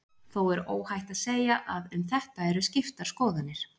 Þó er óhætt að segja að um þetta eru skiptar skoðanir.